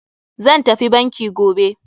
Zan tafi banki gobe.